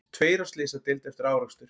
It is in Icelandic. Tveir á slysadeild eftir árekstur